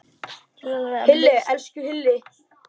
Hilli, elsku Hilli!